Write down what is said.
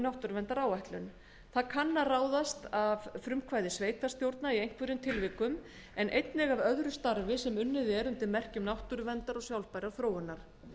náttúruverndaráætlun það kann að ráðast af frumkvæði sveitarstjórna í einhverjum tilvikum en einnig af öðru starfi sem unnið er undir merkjum náttúruverndar og sjálfbærrar þróunar